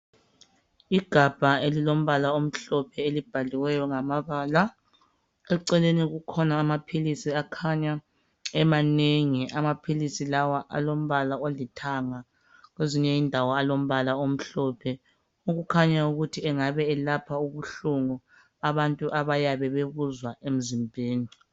Igabha elilombala omhlophe elibhaliweyo ngamabala, eceleni kukhona amaphilisi akhanya emanengi , amaphilisi lawa alombala olithanga kwezinye indawo alombala omhlophe okukhanya ukuthi engabe elapha ubuhlungu abantu abayabe bebuzwa emzimbeni